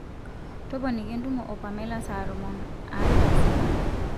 toponiki entumo o pamela saa tomon are taisere